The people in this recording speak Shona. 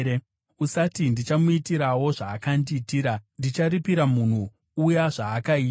Usati, “Ndichamuitirawo zvaakandiitira; ndicharipira munhu uya zvaakaita.”